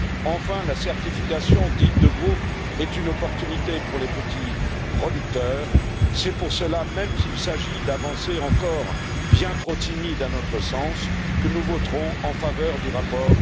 Enfin, la certification de groupe est une opportunité pour les petits producteurs. C'est pour cela, même s'il s'agit d'avancées encore bien trop timides à notre sens, que nous voterons en faveur du rapport.